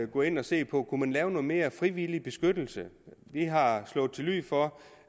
gå ind og se på om man kunne lave noget mere frivillig beskyttelse vi har slået til lyd for